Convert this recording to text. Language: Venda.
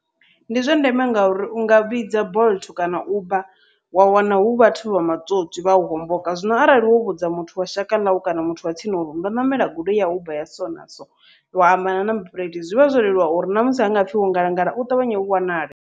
Ndi zwa ndeme ngauri unga vhidza bolt kana uber wa wana hu vhathu vha matswotswi vhau homboka, zwino arali wo vhudza muthu wa shaka ḽau kana muthu wa tsini uri ndo ṋamela goloi ya uber ya so na so, wa amba number phuḽethi zwivha zwo leluwa uri ṋamusi ha ngapfhi wo ngalangala u ṱavhanye u wanale.